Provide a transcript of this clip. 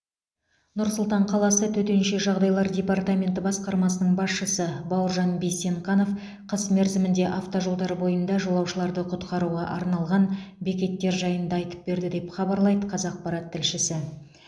нұр сұлтан қаласы төтенше жағдайлар департаменті басқармасының басшысы бауыржан бейсенқанов қыс мерзімінде автожолдар бойында жолаушыларды құтқаруға арналған бекеттер жайында айтып берді деп хабарлайды қазақпарат тілшісі